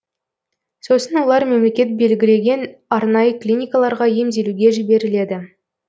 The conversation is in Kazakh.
сосын олар мемлекет белгілеген арнайы клиникаларға емделуге жіберіледі